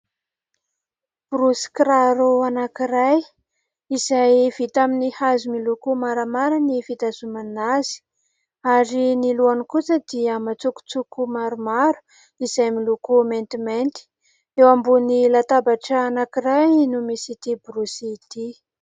Borosy kiraro anankiray izay vita amin'ny hazo miloko maramara ny fitazomana azy ary ny lohany kosa dia matsokotsoko maromaro izay miloko maintimainty. Eo ambony latabatra anankiray no misy ity borosy ity.